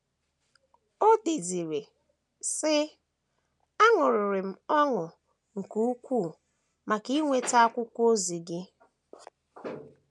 O deziri, sị: “ Aṅụrịrị m ọṅụ nke ukwuu maka inweta akwụkwọ ozi gị.